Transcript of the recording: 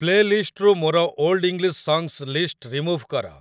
play ଲିଷ୍ଟ୍‌ରୁ ମୋର old English songs ଲିଷ୍ଟ୍‌ଟି ରିମୁଭ୍ କର